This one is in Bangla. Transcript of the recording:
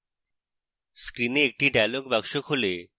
screen একটি dialog box খোলে